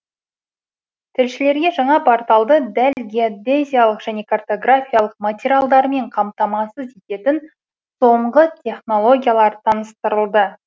тілшілерге жаңа порталды дәл геодезиялық және картографиялық материалдармен қамтамасыз ететін соңғы технологиялар таныстырылды